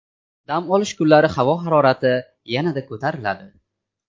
Dam olish kunlari havo harorati yanada ko‘tariladi.